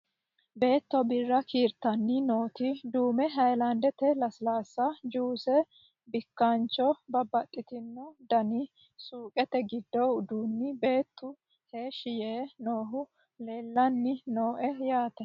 Beetto birre kiirittani nooti duummu hayilaniddete lesilasi, juuice, bikkanicho, babbaxittino danni suuqette giddi udduni beettu heeshi Yee noohu leelanni nooe yaate